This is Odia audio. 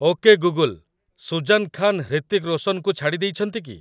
ଓକେ ଗୁଗୁଲ୍, ସୁଜାନ୍ ଖାନ ହ୍ରିତିକ୍ ରୋଶନଙ୍କୁ ଛାଡ଼ିଦେଇଛନ୍ତି କି ?